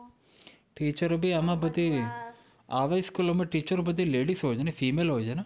Teacher ઓ ભી આમાં બધી, આવી school ઓમાં teacher ઓ બધી ladies હોય છે ને? female હોય છે ને?